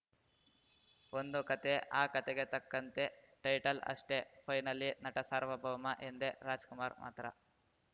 ಒಂದು ಕತೆ ಆ ಕತೆಗೆ ತಕ್ಕಂತೆ ಟೈಟಲ್‌ ಅಷ್ಟೇ ಫೈನಲಿ ನಟ ಸಾರ್ವಭೌಮ ಎಂದೇ ರಾಜ್‌ಕುಮಾರ್‌ ಮಾತ್ರ